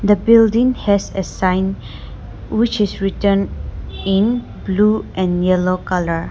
the building has a sign which is written in blue and yellow colour.